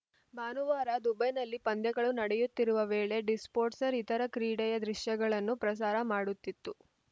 ಭಾನುವಾರ ದುಬೈನಲ್ಲಿ ಪಂದ್ಯಗಳು ನಡೆಯುತ್ತಿರುವ ವೇಳೆ ಡಿಸ್ಪೋಟ್ಸ್‌ರ್‍ ಇತರ ಕ್ರೀಡೆಯ ದೃಶ್ಯಗಳನ್ನು ಪ್ರಸಾರ ಮಾಡುತಿತ್ತು